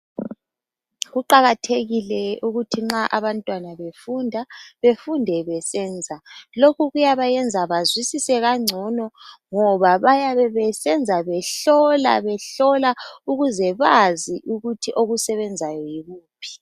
Kuqakathekile ukuthi nxa abantwana befunda befunde besenza lokhu kuyabayenza bazwisise kangcono ngoba bayabe besenza behlohla behlola ukuze bazi ukuthi okusebenzayo yikuphi.